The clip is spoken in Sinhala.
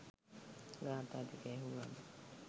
ගාථා ටික ඇහුවම